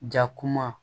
Jakuma